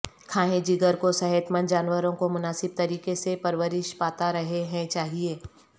کھائیں جگر کو صحت مند جانوروں کو مناسب طریقے سے پرورش پاتا رہے ہیں چاہئے